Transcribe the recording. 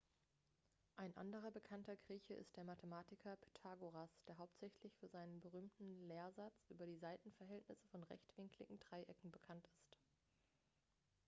ein anderer bekannter grieche ist der mathematiker pythagoras der hauptsächlich für seinen berühmten lehrsatz über die seitenverhältnisse von rechtwinkligen dreiecken bekannt ist